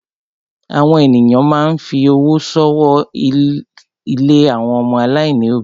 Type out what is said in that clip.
Àwọn èyàn máa ń fi owó ṣọwọ́ sí ilé àwọn ọmọ aláìní òbí.